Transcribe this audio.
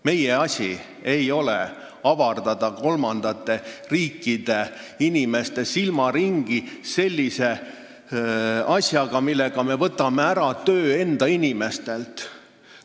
Meie asi ei ole avardada kolmandate riikide inimeste silmaringi sellise asjaga, millega me võtame enda inimestelt töö ära.